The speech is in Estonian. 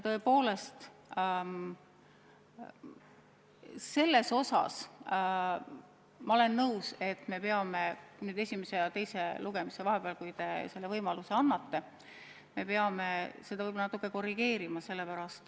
Tõepoolest, sellega ma olen nõus, et me peame esimese ja teise lugemise vahepeal, kui te selle võimaluse annate, seda natukene korrigeerima.